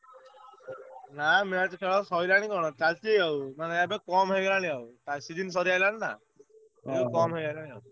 ନା match ଖେଳ ସଇଲାଣି କଣ ଚାଲଚି ଆଉ ମାନେ ଏବେ କମ୍ ହେଇଗଲାଣି ଆଉ, କାରଣ season ସରି ଆଇଲାଣି ନା କମ୍ ହେଇଗଲାଣି ଆଉ।